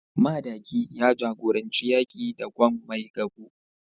Madaki ya jagoranci yaki da Gwan Maigabo